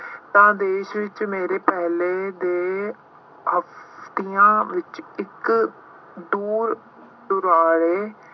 ਤਾਂ ਦੇਸ਼ ਵਿੱਚ ਮੇਰੇ ਪਹਿਲੇ ਦੇ ਹਫਤਿਆਂ ਵਿੱਚ ਇੱਕ ਦੂਰ ਦੁਰਾਡੇ